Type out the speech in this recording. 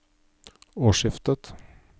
årsskiftet